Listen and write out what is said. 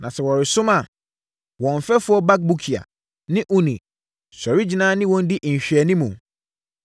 Na sɛ wɔresom a, wɔn mfɛfoɔ Bakbukia ne Uni sɔre gyina ne wɔn di nhwɛanimu.